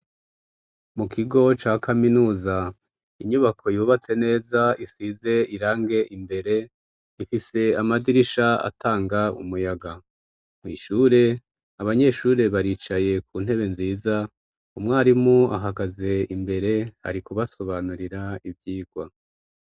mu kigo ca kaminuza inyubako yubatse neza isize irangi imbere ifise amadirisha atanga umuyaga mw' ishure abanyeshure baricaye ku ntebe nziza umwarimu ahagaze imbere ari kubasobanurira ivyigwa